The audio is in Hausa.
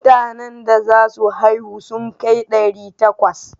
Mutanen da za su haihu sun kai ɗari takwas.